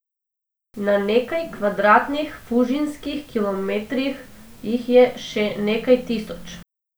Na nekaj kvadratnih fužinskih kilometrih jih je še nekaj tisoč.